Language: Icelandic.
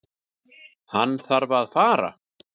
Hann þarf að fara.